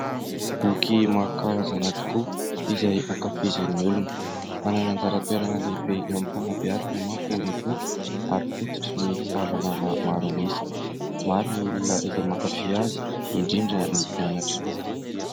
Boky maro karazana tokoa izay ankafizin'ny olona. Manana anjara toerana lehibe eo amin'ny fanambeazana manko ny boky ary fototrin'ny fahalalana maro an'isa. Maro ny olona izay mankafy azy indrindra ny mpianatra.